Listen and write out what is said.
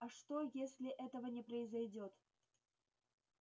а что если этого не произойдёт